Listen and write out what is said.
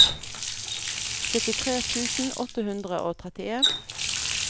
syttitre tusen åtte hundre og trettien